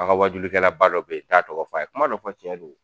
An ŋa waajulikɛlaba dɔ be ye n t'a tɔgɔ fɔ, a ye kuma dɔ fɔ tiɲɛ don.